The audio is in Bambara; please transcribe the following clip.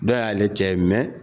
Dɔw y'aale cɛ ye